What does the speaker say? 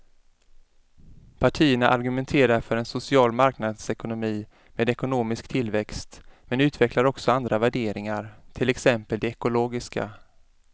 Partierna argumenterar för en social marknadsekonomi med ekonomisk tillväxt men utvecklar också andra värderingar, till exempel de ekologiska.